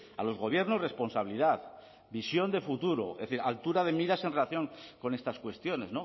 a los gobiernos responsabilidad visión de futuro es decir altura de miras en relación con estas cuestiones